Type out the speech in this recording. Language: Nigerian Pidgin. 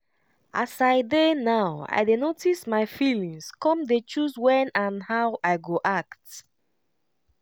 as i dey now i dey notice my feelings come dey choose when and how i go act.